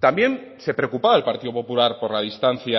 también se preocupaba el partido popular por la distancia